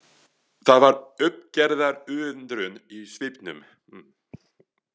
Það var uppgerðar undrun í svipnum.